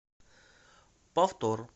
повтор